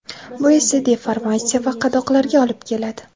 Bu esa deformatsiya va qadoqlarga olib keladi.